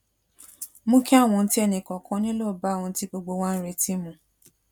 mú kí àwọn ohun tí ẹnì kòòkan nílò bá ohun tí gbogbo wa ń retí mu